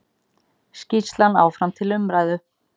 Skýrslan áfram til umræðu